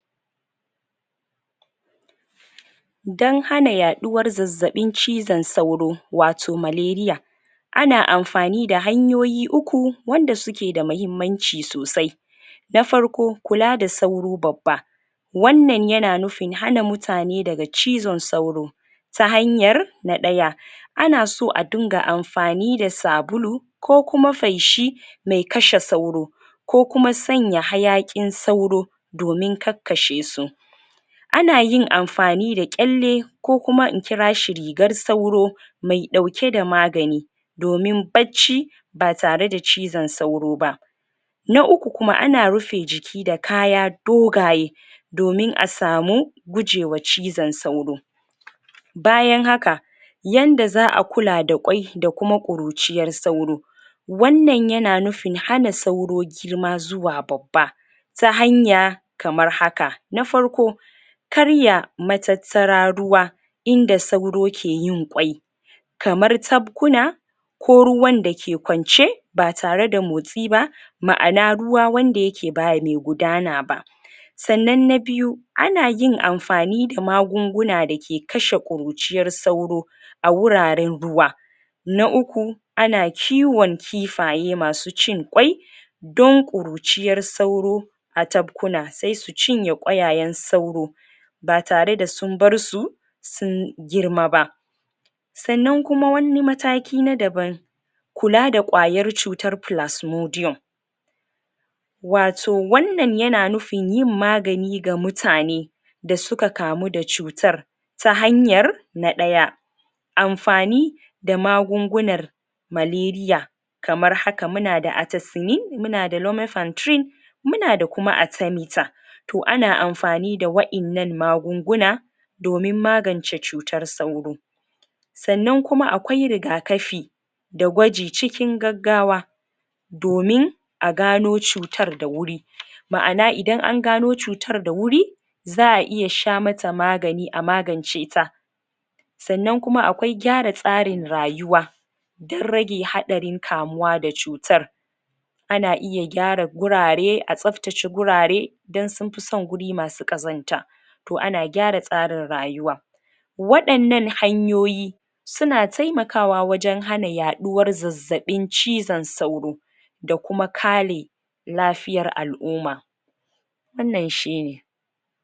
Don hana yaɗuwar zazzaɓin cizon sauro Wato maleriya Ana amfani da hanyoyi uku, Wanda suke da mahimmanci sosai Na farko kula da sauro babba Wannan yana nufin hana mutane daga cizon sauro Ta hanyar, Na daya Ana so a dinga amfani da sabulu Ko kuma faishi Mai kashe sauro Kokuma sanya hayaki mai kashe sauro Domin kakkashe su Anayin amfani da ƙelle Ko kuma in kirashi rigar sauro Mai dauke da magani Domin bacci Ba tare da cizon sauro ba. Na uku kuma ana rufe jiki da kaya Dogaye Domin a samu Gujewa cozon sauro Bayan haka Yanda za'a kula da kwai da kuma ƙuruciyar sauro Wannan yana nufin hana sauro Girma zuwa babba Tan hanya Kamar haka na farko Karya matattara ruwa Inda sauro keyin kwai Kamar tabkuna Ko ruwan dake kwance Ba tare da motsi ba Ma'ana ruwan wanda yake ba mai gudana ba Sannan na biyu Anayin amfani da magunguna dake dake kashe kurujiyar sauro A wuraren zuwa Na uku Ana kiwon kifaye masu cin kwai Don kuruciyar sauro A tabkuna saisu cinye kwayayen sauro Ba tare da sun barsu Sun girma ba Sannan kuma wani mataki na daban Kula da kwayar cutar plasmodia Wato wannan yana nufin yin magani ga mutane Da suka kamu da cutar Ta hanyar Na daya Amfani Da magungunar Maleriya Kamar haka munada Muna da kuma arthemether To ana amfani da wa'innan magunguna Domin magance cutar sauro Sannan kuma akwai riga kafi Da gwaji cikin gaggawa Domin A gano cutar da wuri Ma'ana idan an gano cutar da wuri Za'aiya shamata magani a magance ta Sannan kuma akwai gyara tsarin rayuwa Don rage hadarin kamuwa da cutar Kana iya gyara wurare a tsaftace wurare Don sunfi son guri masu ƙazanta To ana gyara tsarin rayuwa Wadannan hanyoyi Suna taimakawa wajen yaduwar zazzabin cizon sauro Da kuma kare Lafiyar al'umma Wannan shine